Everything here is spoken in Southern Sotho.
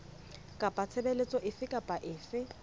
kapa tshebeletso efe kapa efe